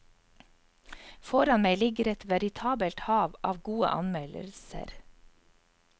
Foran meg ligger et veritabelt hav av gode anmeldelser.